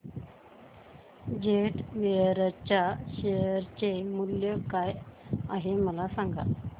jet Airways च्या share चे मूल्य काय आहे मला सांगा